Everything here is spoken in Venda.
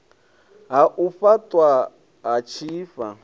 ha u faṱwa ha tshifha